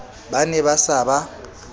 ba ne ba sa ba